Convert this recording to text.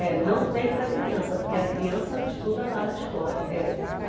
É, não tem para criança, porque a criança estuda lá na escola. É